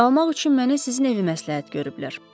Qalmaq üçün mənə sizin evi məsləhət görüblər.